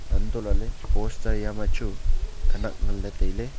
antolahley poster eyam ma chu khanak am nganla tailey.